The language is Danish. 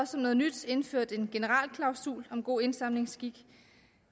som noget nyt indført en generalklausul om god indsamlingsskik